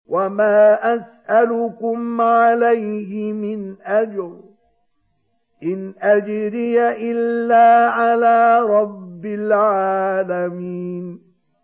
وَمَا أَسْأَلُكُمْ عَلَيْهِ مِنْ أَجْرٍ ۖ إِنْ أَجْرِيَ إِلَّا عَلَىٰ رَبِّ الْعَالَمِينَ